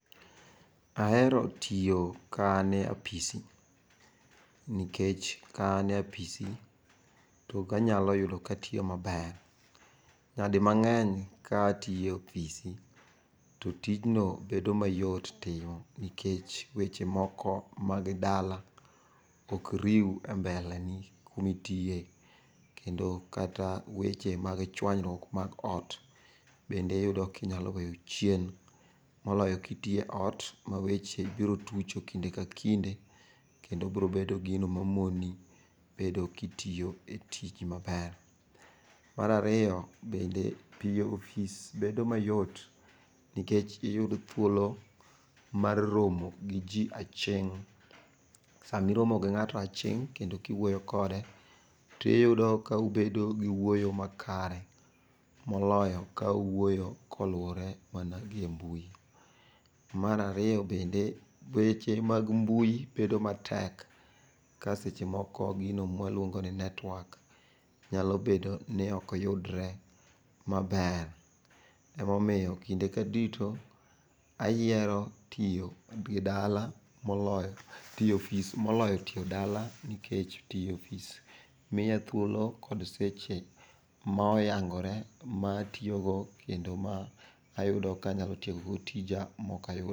Ahero tiyo ka ane apis nikech ka an e apisi to ganyalo yudo katiyo maber. Nyadi mang'eny ka atiyo e ofisi, to tijno bedo mayot timo nikech weche moko mag dala ok riw e mbele ni kumitiye. Kendo weche mag chwanyruok mag ot, bende iyudo kinyalo weyo chien. Moloyo kitiye ot ma weche ibirotucho kinde ka kinde, kendo bro bedo gino mamoni bedo kitiyo e tich maber. Marariyo bende tiyo ofis bedo mayot nikech iyud thuolo mar romo gi ji aching'. Samiromo gi ng'ato aching' kendo kiwuoyo kode, tiyudo kaubedo gi wuoyo makare, moloyo kauwuoyo koluwore mana gi e mbui. Marariyo bende weche mag mbui bedo matek ka seche moko gino mwaluongo ni netwak nyalo bedo ni okyudre maber. Emomiyo kinde ka duto ayiero tiyo gi dala moloyo tiyo ofis moloyo tiyo dala nikech tiye ofis miya thuolo kod seche ma oyangore ma atiyogo kendo ma ayudo ka anyalo tiekogo tija mokayud.